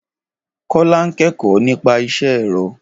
Kọ́lá n kẹ́kọ̀ọ́ nípa isẹ́ ẹ̀rọ.